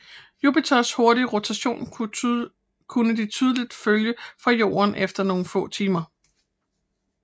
Jupiters hurtige rotation kunne de tydeligt følges fra Jorden efter nogle få timer